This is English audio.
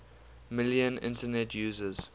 million internet users